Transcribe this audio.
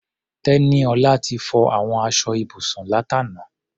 Tẹ́níọlá ti fọ àwọn aṣọ ibùsùn látàná.